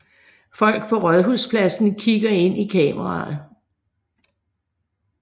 Folk på Rådhuspladsen kigger ind i kameraet